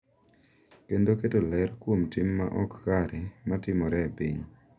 Kendo keto ler kuom tim ma ok kare ma timore e piny.